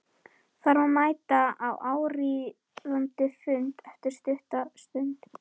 Þarf að mæta á áríðandi fund eftir stutta stund.